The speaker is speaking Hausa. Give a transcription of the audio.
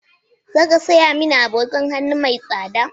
Za ka saya mani agogon hannu mai tsada?